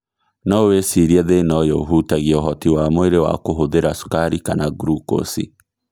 No wĩcirie thĩna ũyũ ũhutagia ũhoti wa mwĩrĩ wa kũhũthĩra cukari kana grukosi